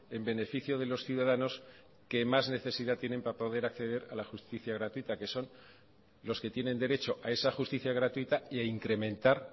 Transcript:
en beneficio de los ciudadanos que más necesidad tienen para poder acceder a la justicia gratuita que son los que tienen derecho a esa justicia gratuita y a incrementar